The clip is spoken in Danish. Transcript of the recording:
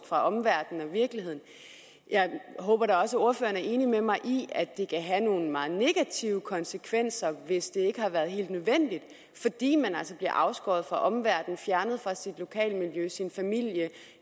fra omverdenen og virkeligheden jeg håber da også at ordføreren er enig med mig i at det kan have nogle meget negative konsekvenser hvis det ikke har været helt nødvendigt fordi man altså bliver afskåret fra omverdenen og fjernet fra sit lokale miljø sin familie